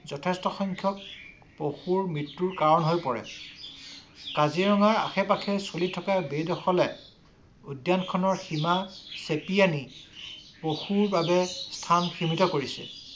যথেষ্ট সংখ্যক পশুৰ মৃত্যুৰ কাৰণ হৈ পৰে। কাজিৰঙাৰ আশে-পাশে চলি থকা বেদখলে উদ্যান খনৰ সীমা চেপি আনি পক্ষৰ বাবে স্থান সীমিত কৰিছে।